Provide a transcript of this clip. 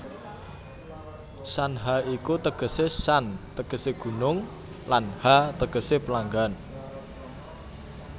Shanha iku tegese Shan tegese gunung lan Ha tegese pelanggan